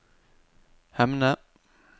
Hemne